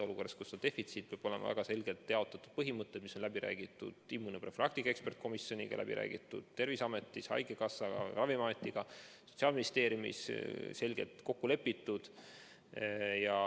Olukorras, kus vaktsiin on defitsiit, peavad olema väga selged jaotamise põhimõtted, mis on läbi räägitud immunoprofülaktika eksperdkomisjoniga, läbi räägitud Terviseameti, haigekassa ja Ravimiametiga, Sotsiaalministeeriumis selgelt kokku lepitud.